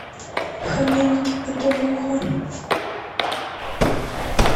хоменки бытовуха